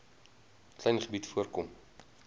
klein gebied voorkom